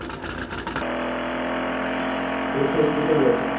আমি খেলতে যেতে ভালোবাসি।